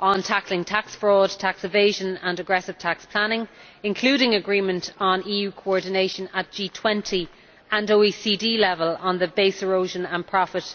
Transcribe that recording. on tackling tax fraud, tax evasion and aggressive tax planning, including agreement on EU coordination at G20 and OECD level on the base erosion and profit